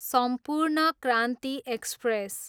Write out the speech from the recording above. सम्पूर्ण क्रान्ति एक्सप्रेस